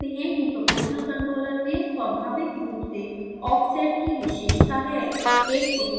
आप देख सकते हैं कि proportional controller में स्वाभाविक रूप से offset की विशेषता है